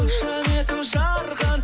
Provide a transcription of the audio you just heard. қошаметің жарқын